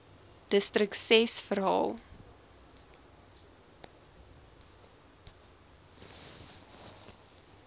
distrik ses verhaal